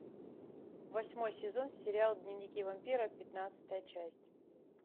восьмой сезон сериал дневники вампира пятнадцатая часть